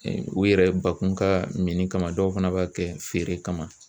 u yɛrɛ bakun ka mini kama dɔw fana b'a kɛ feere kama.